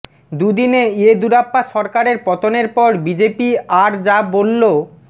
দুদিনে ইয়েদুরাপ্পা সরকারের পতনের পর বিজেপি আর যা বলল